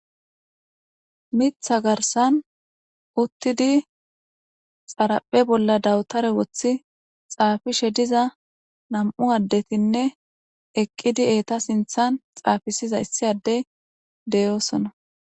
Miththa garsan uttidi xaraphe bolla dawtare woththi xaafishe diza nam'u addetinne eqqidi eeta sinththan xaafisiza issi addey de'osona.